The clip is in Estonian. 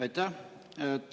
Aitäh!